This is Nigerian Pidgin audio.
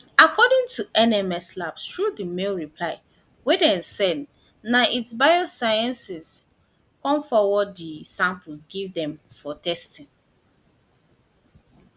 according to nms labs through di mail reply wey dem send na itsi biosciences come forward di samples give dem for testing